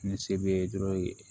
Ni se be dɔrɔn ye